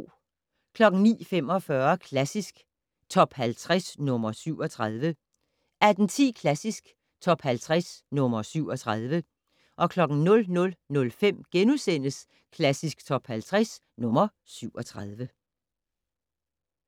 09:45: Klassisk Top 50 - nr. 37 18:10: Klassisk Top 50 - nr. 37 00:05: Klassisk Top 50 - nr. 37 *